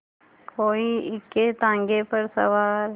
कोई इक्केताँगे पर सवार